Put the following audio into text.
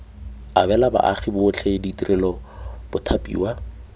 abela baagi botlhe ditirelo bathapiwa